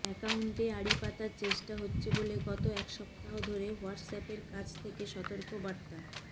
অ্যাকাউন্টে আড়ি পাতার চেষ্টা হচ্ছে বলে গত এক সপ্তাহ ধরে হোয়াটসঅ্যাপের কাছ থেকে সতর্কবার্তা